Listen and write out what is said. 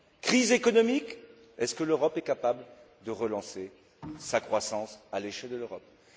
Crise économique est ce que l'Europe est capable de relancer sa croissance à l'échelle européenne?